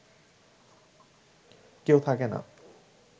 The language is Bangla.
কেউ থাকে না